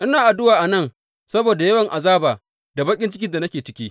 Ina addu’a a nan saboda yawan azaba da baƙin cikin da nake ciki.